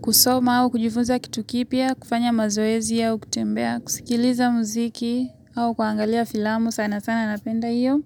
Kusoma au kujifunza kitu kipya, kufanya mazoezi aau kutembea, kusikiliza muziki au kuangalia filamu sana sana napenda hiyo.